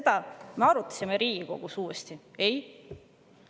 Kas me arutasime seda Riigikogus uuesti?